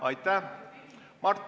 Aitäh!